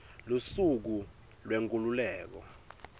lusuku lwenkhululeko